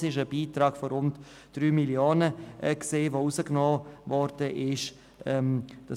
Es wurde ein Beitrag von rund 3 Mio. Franken gestrichen.